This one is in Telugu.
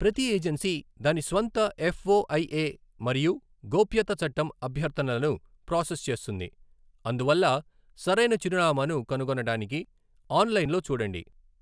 ప్రతి ఏజెన్సీ దాని స్వంత ఎఫ్ఓఐఏ మరియు గోప్యతా చట్టం అభ్యర్థనలను ప్రాసెస్ చేస్తుంది, అందువల్ల సరైన చిరునామాను కనుగొనడానికి ఆన్లైన్లో చూడండి.